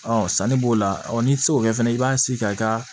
sanni b'o la n'i tɛ se k'o kɛ fɛnɛ i b'a sigi ka